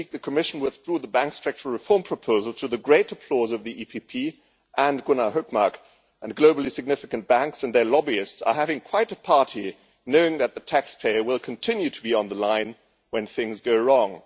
This week the Commission withdrew the banking structural reform proposal, to the great applause of the European Peoples' Party and Gunnar Hökmark, and globally significant banks and their lobbyists are having quite a party knowing that the taxpayer will continue to be on the line when things go wrong.